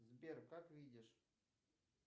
сбер как видишь